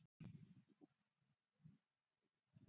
Blessuð sé minning elsku Siggu.